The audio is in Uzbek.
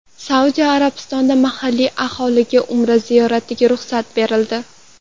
Saudiya Arabistonida mahalliy aholiga Umra ziyoratiga ruxsat berildi.